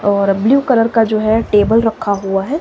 और blue colour का जो है टेबल रखा हुआ है।